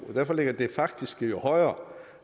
derfor ligger det faktiske jo højere